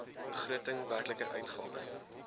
begroting werklike uitgawe